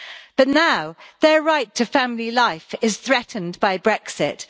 But now their right to family life is threatened by Brexit.